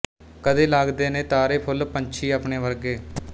ਕਦੇ ਲਗਦੇ ਨੇ ਤਾਰੇ ਫੁੱਲ ਪੰਛੀ ਆਪਣੇ ਵਰਗੇ